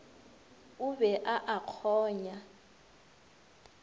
o be a a kgonya